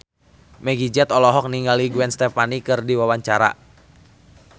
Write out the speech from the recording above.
Meggie Z olohok ningali Gwen Stefani keur diwawancara